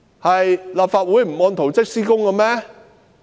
是立法會不按圖則施工嗎？